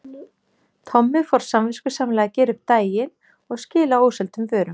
Tommi fór samviskusamlega að gera upp eftir daginn og skila óseldum vörum.